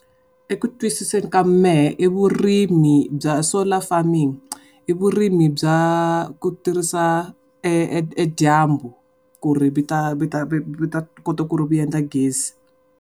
Eku twisiseni ka mehe i vurimi bya solar farming. I vurimi bya ku tirhisa edyambu, ku ri mi ta mi ta mi ta kota ku ri mi endla gezi.